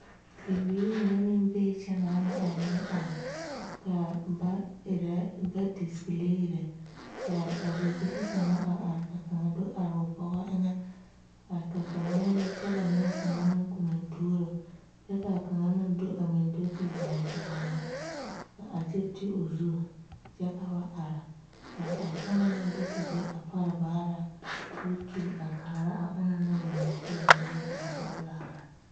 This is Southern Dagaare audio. Bibiiri mine meŋ bee kyɛ naana a meŋ are ka ba erɛ ba displayiree kaa a bibilee kaŋa a are ka ba do are o bugɔ eŋ